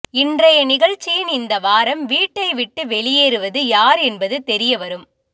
இன்றைய நிகழ்ச்சியின் இந்த வாரம் வீட்டை விட்டு வெளியேறுவது யார் என்பது தெரியவரும்